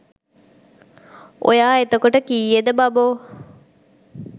ඔයා එතකොට කීයේද බබෝ